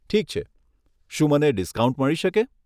ઠીક છે, શું મને ડિસ્કાઉન્ટ મળી શકે?